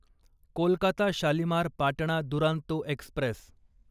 Kolkata Shalimar Patna Duronto Express